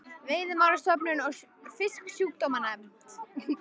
Veiðimálastofnun og Fisksjúkdómanefnd.